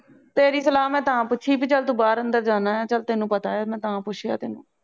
ਤੇਰੀ ਸਲਾਹ ਮੈ ਤਾ ਪੁੱਛੀ ਪੀ ਚਾਲ ਤੂੰ ਬਾਹਰ ਅੰਦਰ ਜਾਣਾ ਆ ਚੱਲ ਤੈਨੂੰ ਪਤਾ ਏ ਮੈ ਤਾ ਪੁੱਛਿਆ ਤੈਨੂੰ